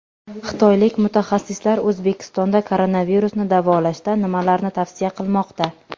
Xitoylik mutaxassislar O‘zbekistonda koronavirusni davolashda nimalarni tavsiya qilmoqda?.